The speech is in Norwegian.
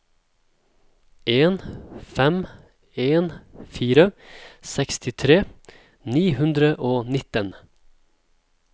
en fem en fire sekstitre ni hundre og nitten